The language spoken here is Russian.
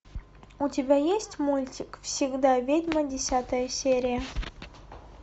у тебя есть мультик всегда ведьма десятая серия